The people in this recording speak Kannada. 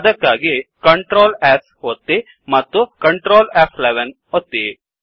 ಅದಕ್ಕಾಗಿ Ctrl S ಒತ್ತಿ ಮತ್ತು Ctrl ಫ್11 ಒತ್ತಿ